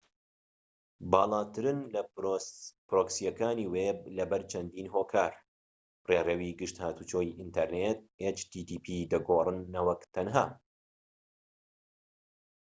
باڵاترن لە پرۆکسیەکانی وێب لەبەر چەندین هۆکار ڕێڕەوی گشت هاتووچۆی ئینتەرنێت دەگوڕن نەوەک تەنها http